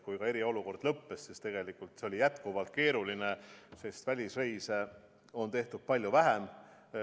Kui eriolukord lõppes, jäi olukord jätkuvalt keeruliseks, sest välisreise on tehtud palju vähem.